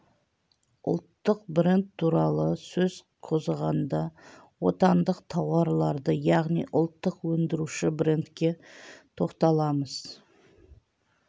ұлттық бренд туралы сөз қозғағанда отандық тауарларды яғни ұлттық өндіруші брендке тоқталамыз